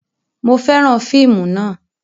Mo fẹ́ràn fíìmù náà